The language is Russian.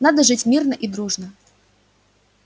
надо жить мирно и дружно